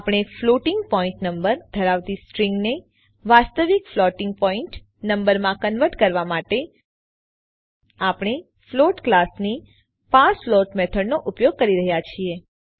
આપણે floating point number ધરાવતી string ને વાસ્તવિક ફ્લોટિંગ પોઇન્ટ નંબરમાં કન્વર્ટ કરવા માટે આપણે ફ્લોટ ક્લાસની પાર્સફ્લોટ મેથડનો ઉપયોગ કરી રહ્યા છીએ